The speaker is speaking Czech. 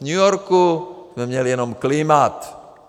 V New Yorku jsme měli jenom climate.